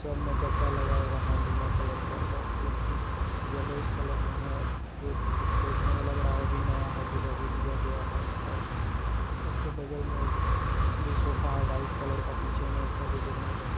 सब में गद्दा लगा हुआ है नीला कलर का और कुर्सी येलो इस कलर में है जो देखने मे लग रहा है अभी नया है जो अभी लिया गया है और उसके बगल में एक भी सोफा सोफा व्हाइट कलर का पीछे में उसका जो देखने में काफी--